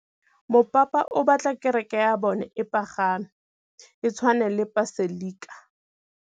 Mopapa o batla kereke ya bone e pagame, e tshwane le paselika.